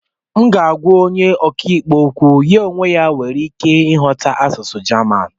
m ga-agwa onye ọka ikpe okwu, ya onwe ya nwekwara ike ịghọta asụsụ jaman